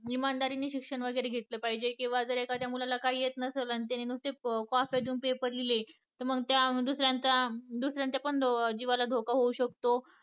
इमानदारी ने शिक्षण घेतलं पाहिजे किंवा जर एखाद्या जर काही नयेत नसेल तर त्याने नुसते कॉप्या देऊन पेपर लिहले तर मग त्या दुसऱ्याच्या पण जीवाला धोका होऊ शकतो